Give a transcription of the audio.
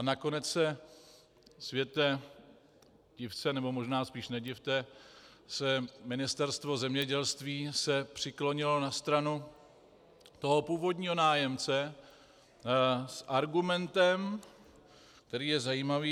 A nakonec se, světe div se, nebo možná spíš nedivte, Ministerstvo zemědělství přiklonilo na stranu toho původního nájemce s argumentem, který je zajímavý.